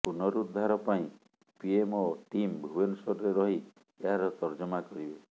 ପୁନରୁଦ୍ଧାର ପାଇଁ PMO team ଭୁବନେଶ୍ୱରରେ ରହି ଏହାର ତର୍ଜମା କରିବେ